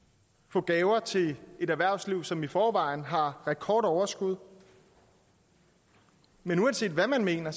på gaver til et erhvervsliv som i forvejen har rekordoverskud men uanset hvad man mener